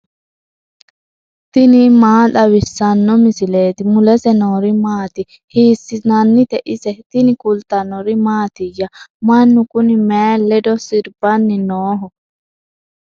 tini maa xawissanno misileeti ? mulese noori maati ? hiissinannite ise ? tini kultannori mattiya? Mannu kunni mayi leddo siribbanni nooho?